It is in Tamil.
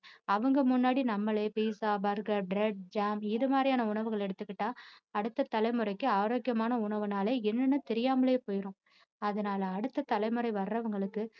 அவங்க முன்னாடி நம்மளே pizza burger bread jam இது மாதிரியான உணவுகள் எடுத்துகிட்டா அடுத்த தலைமுறைக்கு ஆரோக்கியமான உணவுனாலே என்னன்னு தெரியாமலே போயிரும் அதனால அடுத்த தலைமுறை வர்றவங்களுக்கு